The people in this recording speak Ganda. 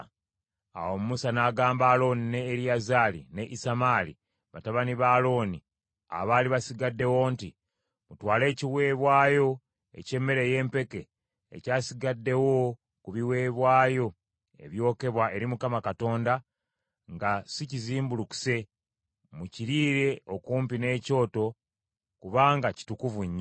Awo Musa n’agamba Alooni ne Eriyazaali ne Isamaali, batabani ba Alooni abaali basigaddewo, nti, “Mutwale ekiweebwayo eky’emmere ey’empeke ekyasigaddewo ku biweebwayo ebyokebwa eri Mukama Katonda nga si kizimbulukuse, mukiriire okumpi n’ekyoto kubanga kitukuvu nnyo.